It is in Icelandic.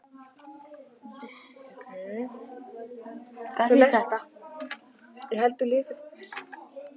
Hann var ekki fastur í neinu neti og yfir honum var engin svört könguló.